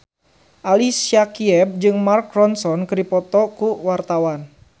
Ali Syakieb jeung Mark Ronson keur dipoto ku wartawan